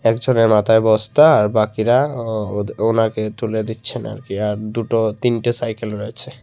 একজনের মাথায় বস্তা আর বাকিরা ও ওদ ওনাকে তুলে দিচ্ছেন আর কি আর দুটো তিনটে সাইকেল রয়েছে।